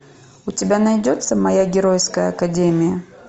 у тебя найдется моя геройская академия